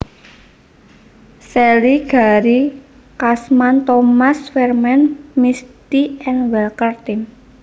Shelly Gary Cashman Thomas Vermaat Misty and Walker Tim